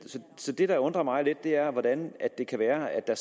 det der undrer mig lidt er hvordan det kan være at der